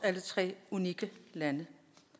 tre unikke lande